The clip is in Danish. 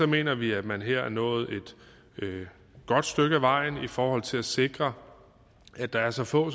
mener vi at man her er nået et godt stykke ad vejen i forhold til at sikre at der er så få